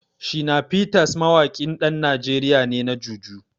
Shina Peters mawaƙin ɗan Najeriya ne na Jùjú.